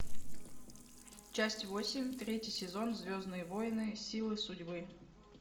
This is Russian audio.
часть восемь третий сезон звездные войны силы судьбы